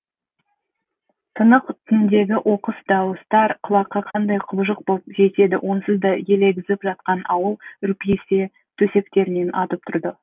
тынық түндегі оқыс дауыстар құлаққа қандай құбыжық боп жетеді онсыз да елегізіп жатқан ауыл үрпиісе төсектерінен атып тұрды